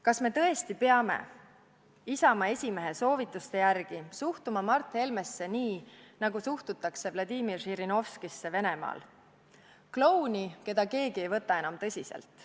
Kas me tõesti peame Isamaa esimehe soovituste järgi suhtuma Mart Helmesse nii, nagu suhtutakse Venemaal Vladimir Žirinovskisse – klouni, keda keegi enam tõsiselt ei võta?